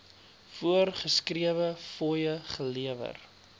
voorgeskrewe fooie gelewer